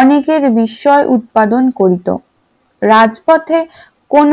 অনেকের বিষয় উৎপাদন করিতো রাজপথে কোন